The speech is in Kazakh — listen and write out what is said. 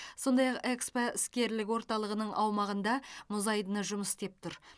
сондай ақ экспо іскерлік орталығының аумағында мұзайдын жұмыс істеп тұр